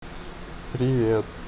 привет